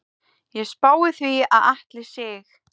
Ég spái því að Atli Sig.